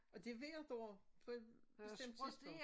Og det hvert år på et bestemt tidspunkt